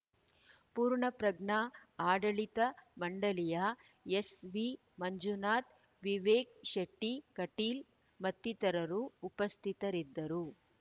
ಪೂರ್ಣಪ್ರಜ್ಞಾ ಆಡಳಿತ ಮಂಡಳಿಯ ಎಸ್‌ವಿ ಮಂಜುನಾಥ್‌ ವಿವೇಕ್‌ ಶೆಟ್ಟಿಕಟೀಲ್‌ ಮತ್ತಿತರರು ಉಪಸ್ಥಿತರಿದ್ದರು